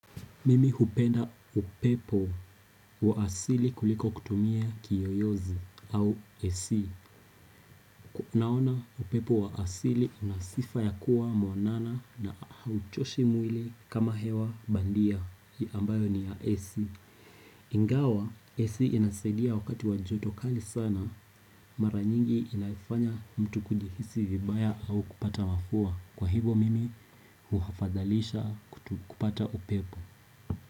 Mimi hupenda upepo wa asili kuliko kutumia kiyoyozi au AC.naona upepo wa asili unasifa ya kuwa mwanana na hauchoshi mwili kama hewa bandia ambayo ni ya AC Ingawa, AC inasaidia wakati wa joto kali sana Mara nyingi inaifanya mtu kujihisi vibaya au kupata mafua Kwa hivyo mimi huhafadhalisha kupata upepo.